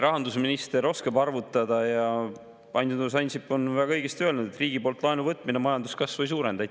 Rahandusminister oskab arvutada ja Andrus Ansip on väga õigesti öelnud, et riigi poolt laenu võtmine majanduskasvu ei suurenda.